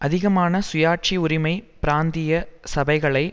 அதிகமான சுயாட்சி உரிமை பிராந்திய சபைகளை